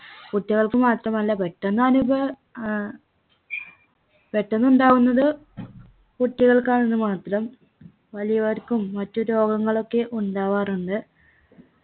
കുട്ടികൾക്ക് മാത്രമല്ല പെട്ടെന്ന് അനുഭ ഏർ പെട്ടുനിന്നുണ്ടാവുന്നത് കുട്ടികൾക്കാണെന്നു മാത്രം വലിയവർക്കും മറ്റു രോഗങ്ങളൊക്കെ ഉണ്ടാവാറുണ്ട്